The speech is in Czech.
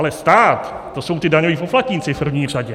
Ale stát, to jsou ti daňoví poplatníci v první řadě.